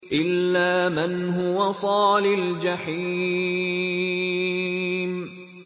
إِلَّا مَنْ هُوَ صَالِ الْجَحِيمِ